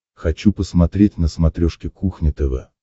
хочу посмотреть на смотрешке кухня тв